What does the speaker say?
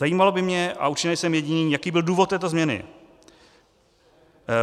Zajímalo by mě, a určitě nejsem jediný, jaký byl důvod této změny.